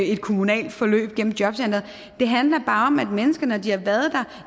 et kommunalt forløb gennem jobcenteret det handler bare om at mennesker når de har været der